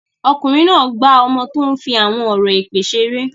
Ọkùnrin náà gbá ọmọ tó ń fi àwọn ọ̀rọ̀ èpè ṣeré.